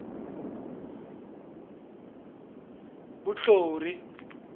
vunhlori